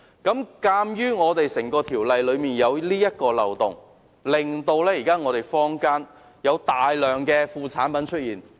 鑒於《條例》有這個漏洞，以致坊間有大量副產品出現。